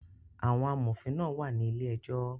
Àwọn amòfin náà wà ní ilé ejọ́